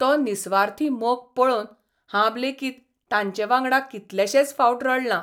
तो निस्वार्थी मोग पळोवन हांब लेगीत तांचे वांगडा कितलेशेच फावट रडलां.